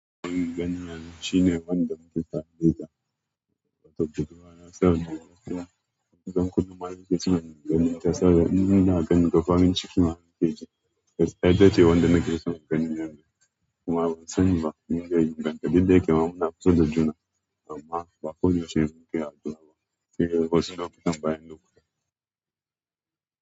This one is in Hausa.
Ina ganin Hani shine wanda muke ta haɗe da ta ta WhatsApp da kuma na saura da yawa. Don haka zan kaɗa muke cikin maganinta saboda inda na gani da farin cikin hake ji. Kai dai ce wanda nake so in gani yanzu kuma ban sani ba, muna yin banda duk da yake muna kusada juna amma ba ko da yaushe muke haɗuwa ba. Kike kusan bayan lokaci.